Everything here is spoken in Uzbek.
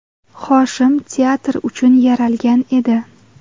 Hoshim teatr uchun yaralgan edi.